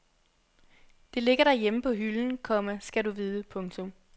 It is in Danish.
Det ligger derhjemme på hylden, komma skal du vide. punktum